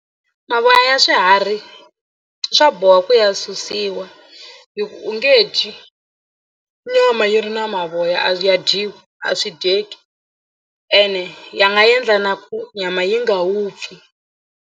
Mavoya ya swiharhi swa boha ku ya susiwa hi ku u nge dyi nyama yi ri na mavoya a ya dyiwi a swi dyeki ene ya nga endla na ku nyama yi nga vupfi.